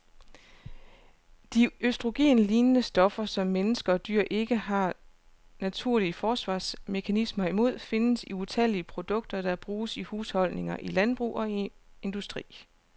De østrogenlignende stoffer, som mennesker og dyr ikke har naturlige forsvarsmekanismer imod, findes i utallige produkter, der bruges i husholdninger, i landbrug og industri.